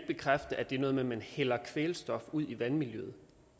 bekræfte at det er noget med at man hælder kvælstof ud i vandmiljøet